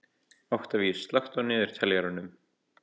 Oktavías, slökktu á niðurteljaranum.